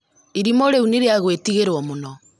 Irima rĩu nĩrĩagwĩtigĩrũo mũũno